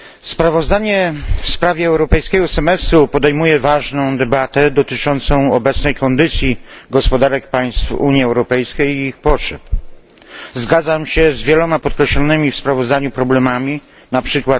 Sprawozdanie w sprawie europejskiego semestru podejmuje ważną debatę dotyczącą obecnej kondycji gospodarek państw Unii Europejskiej i ich potrzeb. Zgadzam się z wieloma podkreślonymi w sprawozdaniu problemami, np.